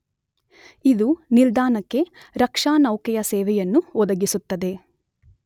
ಇದು ನಿಲ್ದಾಣಕ್ಕೆ ರಕ್ಷಾನೌಕೆಯ ಸೇವೆಯನ್ನು ಒದಗಿಸುತ್ತದೆ.